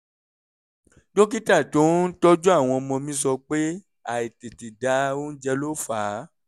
dókítà tó ń tọ́jú àwọn ọmọ mi sọ pé àìtètè da oúnjẹ ló fà á